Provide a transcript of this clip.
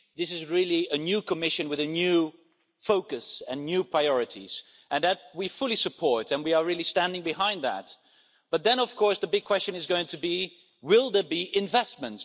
This is really a new Commission with a new focus and new priorities, and that we fully support and we are really standing behind that, but then of course the big question is going to be will there be investment?